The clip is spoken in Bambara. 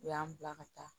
U y'an bila ka taa